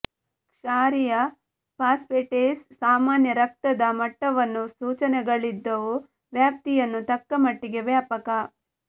ಕ್ಷಾರೀಯ ಫಾಸ್ಫೇಟೇಸ್ ಸಾಮಾನ್ಯ ರಕ್ತದ ಮಟ್ಟವನ್ನು ಸೂಚನೆಗಳಿದ್ದವು ವ್ಯಾಪ್ತಿಯನ್ನು ತಕ್ಕಮಟ್ಟಿಗೆ ವ್ಯಾಪಕ